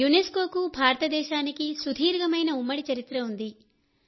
యునెస్కోకు భారతదేశానికి సుదీర్ఘమైన ఉమ్మడి చరిత్ర ఉంది